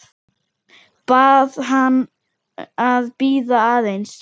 Bað hana að bíða aðeins.